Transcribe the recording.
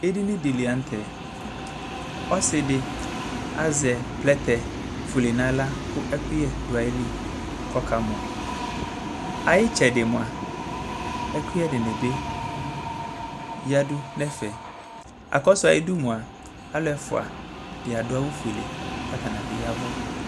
Edini lanʋtɛ ɔsidi azɛ plɛtɛ fuele nʋ aɣla kʋ ɛkʋyɛ dʋ ayili kʋ ɔka mɔ ayʋ itsɛdi mʋa ɛkʋyɛ dinibi yadʋ nʋ ɛfɛ akɔsʋ ayʋ idʋ mʋa alʋ ɛfʋa di adʋ awʋ fuele kʋ atnibi yavʋ